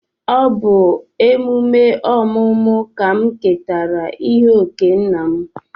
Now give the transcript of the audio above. Ọ bụ emume ọmụmụ ka m ketara ihe okee nna m.